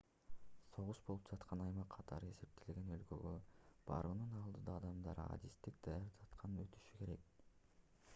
согуш болуп жаткан аймак катары эсептелген өлкөгө баруунун алдыyда адамдар адистик даярдыктан өтүшү керек